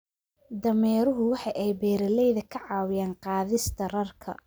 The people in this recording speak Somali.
Dameeruhu waxa ay beeralayda ka caawiyaan qaadista rarka